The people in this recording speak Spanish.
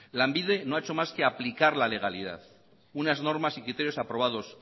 lanbide no ha hecho más que aplicar la legalidad unas normas y criterios aprobados